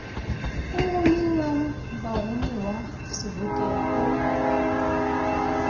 o romelang baromuwa sebokeng o